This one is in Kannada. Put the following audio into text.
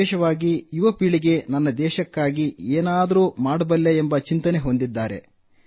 ವಿಶೇಷವಾಗಿ ಯುವ ಪೀಳಿಗೆ ನನ್ನ ದೇಶಕ್ಕಾಗಿ ಏನು ಮಾಡಬಲ್ಲೆ ಎಂಬ ಚಿಂತನೆ ಹೊಂದಿದೆ